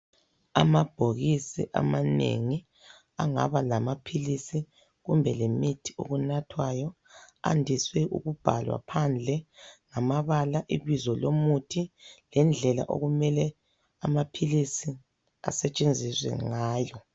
Amabhokisi amanengi angaba lamaphilisi kumbe lemithi okunathwayo, andiswe ukubhalwa phandle ngamabala ibizo lomuthi lendlela okumele amaphilisi asetshenziswe ngayo.